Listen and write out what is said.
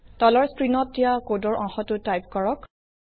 তলৰ স্ক্ৰিন দিয়া কোডৰ অংশ টো টাইপ কৰক